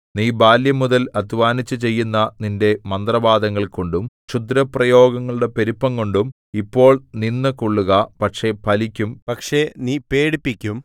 നീ ബാല്യംമുതൽ അദ്ധ്വാനിച്ചു ചെയ്യുന്ന നിന്റെ മന്ത്രവാദങ്ങൾകൊണ്ടും ക്ഷുദ്രപ്രയോഗങ്ങളുടെ പെരുപ്പംകൊണ്ടും ഇപ്പോൾ നിന്നുകൊള്ളുക പക്ഷേ ഫലിക്കും പക്ഷേ നീ പേടിപ്പിക്കും